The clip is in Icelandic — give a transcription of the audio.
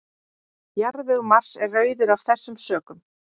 Jarðvegur Mars er rauður af þessum sökum.